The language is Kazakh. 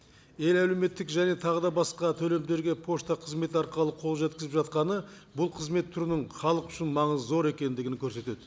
ел әлеуметтік және тағы да басқа төлемдерге пошта қызметі арқылы қол жеткізіп жатқаны бұл қызмет түрінің халық үшін маңызы зор екендігін көрсетеді